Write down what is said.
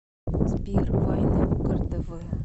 сбер вайны угар тэ вэ